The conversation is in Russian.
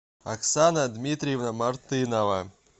оксана дмитриевна мартынова